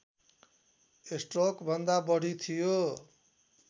स्ट्रोकभन्दा बढी थियो